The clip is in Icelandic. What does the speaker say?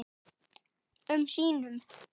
um sínum.